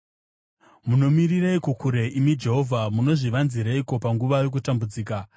Munomirireiko kure, imi Jehovha? Munozvivanzireiko panguva yokutambudzika?